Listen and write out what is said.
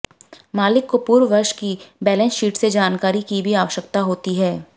मालिक को पूर्व वर्ष की बैलेंस शीट से जानकारी की भी आवश्यकता होती है